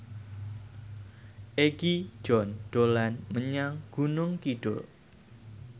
Egi John dolan menyang Gunung Kidul